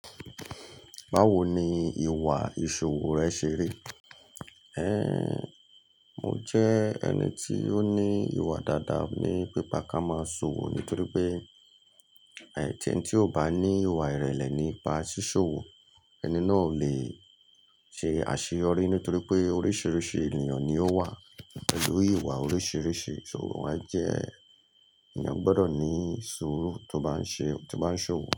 Báwo ni ìwà ìṣòwò rẹ ṣe rí? Ë! Mo jẹ́ ẹni tí ó ní ìwà dáadáa ní pípa ká máa ṣòwò ni torí pé, ẹ̀, tí ẹni tí ò bá ní ìwà ìrẹ̀lẹ̀ nípa sísòwò, ẹni náà ò lè ṣe àṣeyọrí nítorí pé oríṣiríṣi ènìyàn ni ó wà pẹ̀lú ìwà oríṣiríṣi. Sòwò máa ń jẹ́ ènìyàn gbọdọ̀ ní suuru tó bá ń ṣe, tó bá ń ṣòwò.